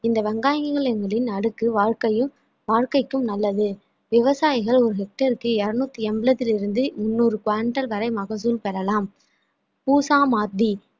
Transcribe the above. இந்த வெங்காயங்களின் முடி அடுக்கு வாழ்க்கையும் வாழ்க்கைக்கும் நல்லது விவசாயிகள் ஒரு hectare க்கு இருநூத்தி எம்பலத்தில் இருந்து முன்னூறு வரை மகசூல் பெறலாம் கூசா மாத்தி